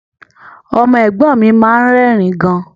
Ọmọ ẹ̀gbọ́n mi máa ń rẹ́rìn-ín gan